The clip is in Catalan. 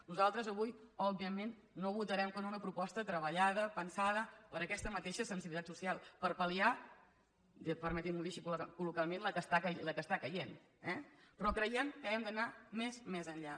nosaltres avui òbviament no votarem que no a una proposta treballada pensada per aquesta mateixa sensibilitat social per pal·liar permetin m’ho dir així col·loquialment la que cau eh però creiem que hem d’anar més més enllà